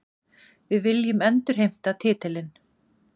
Við viljum endurheimta titilinn